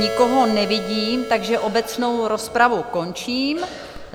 Nikoho nevidím, takže obecnou rozpravu končím.